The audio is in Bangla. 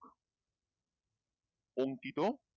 অংকিত